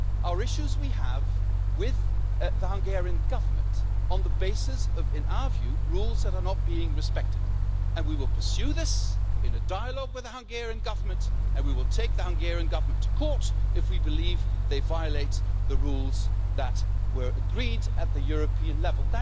They are issues we have with the Hungarian Government on the basis of, in our view, rules that are not being respected. We will pursue this in a dialogue with the Hungarian Government and we will take the Hungarian Government to court if we believe that they violate the rules that were agreed at European level.